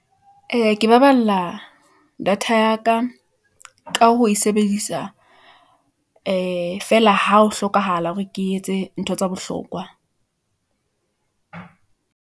Ee, ke baballa data ya ka , ka ho e sebedisa ee fela ha ho hlokahala hore ke etse ntho tsa bohlokwa.